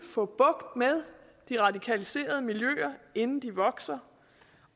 få bugt med de radikaliserede miljøer inden de vokser